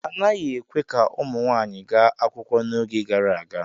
A naghị ekwe ka ụmụ nwanyị gaa akwụkwọ n'oge gara aga.